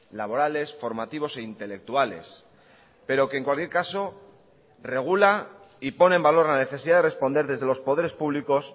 laborales formativos e intelectuales pero que en cualquier caso regula y pone en valor la necesidad de responder desde los poderes públicos